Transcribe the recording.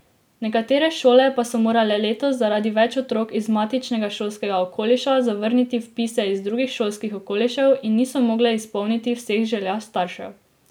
Nekatere šole pa so morale letos zaradi več otrok iz matičnega šolskega okoliša zavrniti vpise iz drugih šolskih okolišev in niso mogle izpolniti vseh želja staršev.